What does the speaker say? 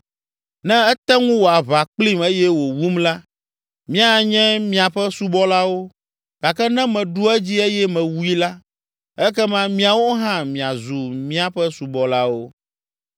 Ne ete ŋu wɔ aʋa kplim eye wòwum la, míanye miaƒe subɔlawo, gake ne meɖu edzi eye mewui la, ekema miawo hã miazu míaƒe subɔlawo.”